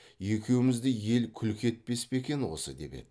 екеумізді ел күлкі етпес пе екен осы деп еді